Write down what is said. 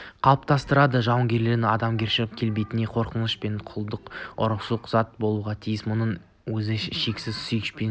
қалыптастырады жауынгердің адамгершілік келбетіне қорқыныш пен құлдық ұрушылық жат болуға тиіс мұның өзі шексіз сүюшілік